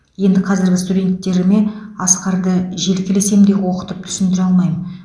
енді қазіргі студенттеріме асқарды желкелесем де оқытып түсіндіре алмаймын